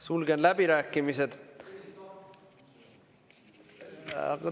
Sulgen läbirääkimised.